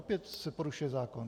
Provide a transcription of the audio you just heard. Opět se poruší zákon.